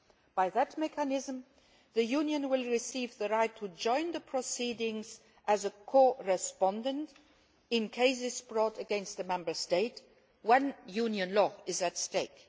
By that mechanism the Union will receive the right to join the proceedings as a co respondent in cases brought against a Member State when Union law is at stake.